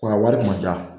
Wa a wari ma diya